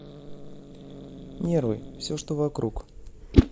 нервы все что вокруг